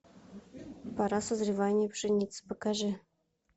пора созревания пшеницы покажи